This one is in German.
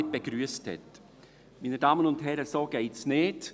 Meine Damen und Herren, so geht es nicht!